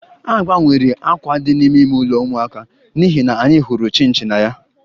A gbanwere àkwà dị n'ime ime ụlọ ụmụaka n'ihi na anyị hụrụ chinchi na ya